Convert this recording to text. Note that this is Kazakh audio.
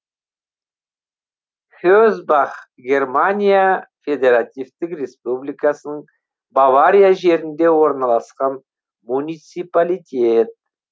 хесбах германия федеративтік республикасының бавария жерінде орналасқан муниципалитет